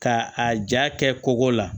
Ka a ja kɛ kogo la